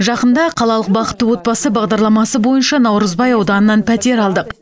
жақында қалалық бақытты отбасы бағдарламасы бойынша наурызбай ауданынан пәтер алдық